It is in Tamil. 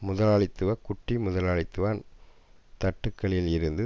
முதலாளித்துவ குட்டி முதலாளித்துவ தட்டுக்களில் இருந்து